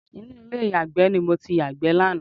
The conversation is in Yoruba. Inú ilé ìyàgbẹ́ ni mo ti yàgbẹ́ lánàá